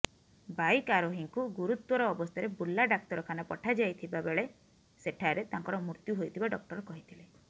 bike ଆରୋହିଙ୍କୁ ଗୁରୁତର ଅବସ୍ଥାରେ ବୁର୍ଲା ଡାକ୍ତରଖାନା ପଠାଯାଇଥିବା ବେଳେ ସେଠାରେ ତାଙ୍କର ମୃତ୍ୟୁ ହୋଇଥିବା ଡକ୍ଟର କହିଥିଲେ